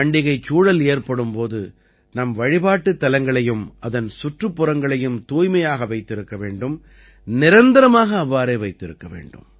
பண்டிகைச் சூழல் ஏற்படும்போது நம் வழிபாட்டுத் தலங்களையும் அதன் சுற்றுப்புறங்களையும் தூய்மையாக வைத்திருக்க வேண்டும் நிரந்தரமாக அவ்வாறே வைத்திருக்க வேண்டும்